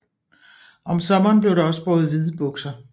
Om sommeren blev der også båret hvide bukser